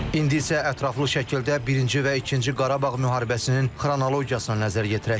İndi isə ətraflı şəkildə Birinci və İkinci Qarabağ müharibəsinin xronologiyasına nəzər yetirək.